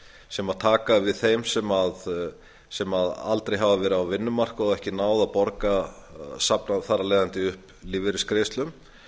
sem taka við þeim sem aldrei hafa verið á vinnumarkaði og þar af leiðandi ekki náð að safna upp lífeyrisgreiðslum